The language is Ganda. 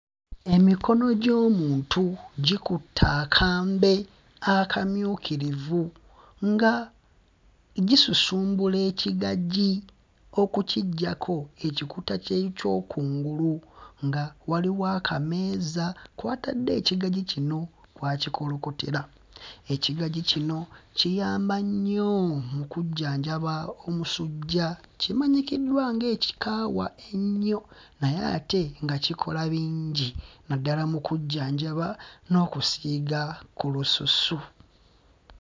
Emikono gy'omuntu gikutte akambe akamyukirivu nga gisusumbula ekigagi okukiggyako ekikuta kye ky'okungulu nga waliwo akameeza kwe batadde ekigagi kino kw'akikolokotera. Ekigagi kino kiyamba nnyo mu kujjanjaba omusujja, kimanyikiddwa nga ekikaawa ennyo naye ate nga kikola bingi naddala mu kujjanjaba n'okusiiga ku lususu.